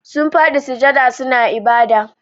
Sun fadi sujjada suna ibada.